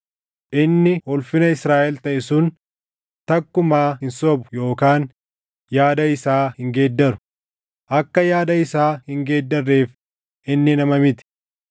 Inni ulfina Israaʼel taʼe sun takkumaa hin sobu yookaan yaada isaa hin geeddaru; akka yaada isaa hin geeddarreef inni nama miti.”